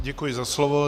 Děkuji za slovo.